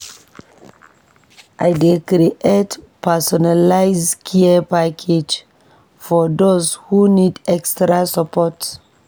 I dey create personalized care packages for those who need extra support.